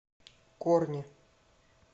корни